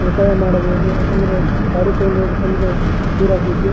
ಒತ್ತಾಯ ಮಾಡಬಹೂದು ಯಾಕಂದ್ರೆ ಅಂದ್ರೆ--